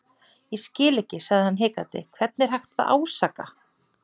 Ég skil ekki sagði hann hikandi, hvern er hægt að ásaka.